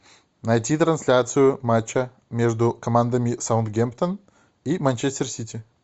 найти трансляцию матча между командами саутгемптон и манчестер сити